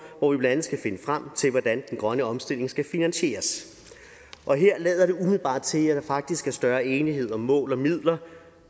hvor vi blandt andet skal finde frem til hvordan den grønne omstilling skal finansieres og her lader det umiddelbart til at der faktisk er større enighed om mål og midler